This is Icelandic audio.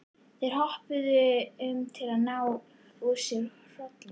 Þeir hoppuðu um til að ná úr sér hrollinum.